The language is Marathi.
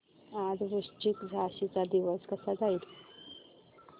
आज वृश्चिक राशी चा दिवस कसा जाईल